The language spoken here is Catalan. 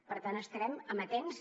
per tant hi estarem amatents